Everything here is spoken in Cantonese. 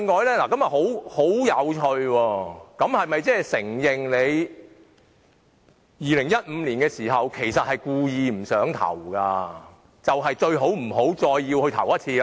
這是否承認他們在2015年時根本是故意不想投票，所以最好不要再來一次。